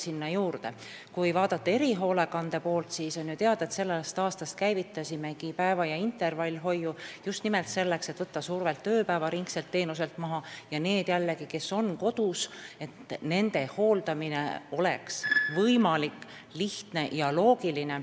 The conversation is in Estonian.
On ju teada, et erihoolekandes käivitasime sellest aastast päeva- ja intervallhoiu just nimelt selleks, et ööpäevaringselt teenuselt survet maha võtta ning et kodus olevate inimeste hooldamine oleks võimalik, lihtne ja loogiline.